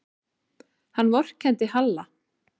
Hann vorkenndi Halla.